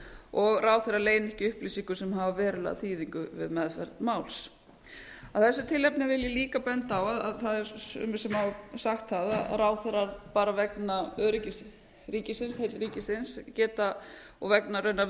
og ráðherrar leyni ekki upplýsingum sem hafa verulega þýðingu við meðferð máls af þessu tilefni vil ég líka benda á að það eru sumir sem hafa sagt það að ráðherrar bara vegna öryggis ríkisins heill ríkisins geta og vegna raunar